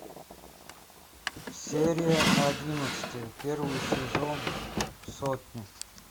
серия одиннадцатая первый сезон сотня